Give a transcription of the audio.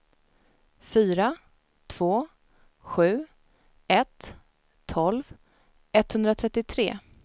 fyra två sju ett tolv etthundratrettiotre